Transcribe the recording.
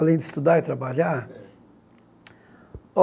Além de estudar e trabalhar? É